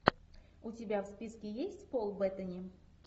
у тебя в списке есть пол беттани